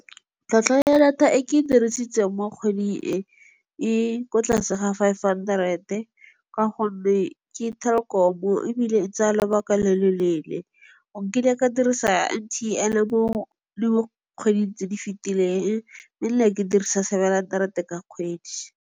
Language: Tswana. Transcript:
Tlhwatlhwa ya data e ke e dirisitseng mo kgwedi e, e ko tlase ga five hundred-e, ka gonne ke Telkom-o ebile e tsaya lobaka lo lo leele. Nkile ka dirisa M_T_N mo di kgweding tse di fetileng, mme nna ke dirisa seven hundred-e ka kgwedi.